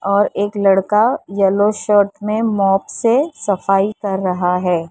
और एक लड़का येलो शर्ट में मोप से सफाई कर रहा है।